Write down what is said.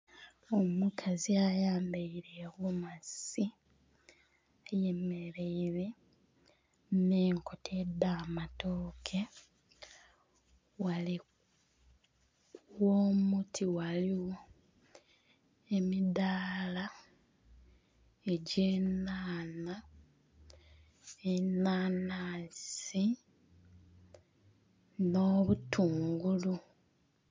Omukazi ayambaile egomasi ayemeleire nh'enkota edh'amatooke. Ghale gh'omuti ghaligho emidaala egy'enhanha, enhanhansi, n'obutungulu.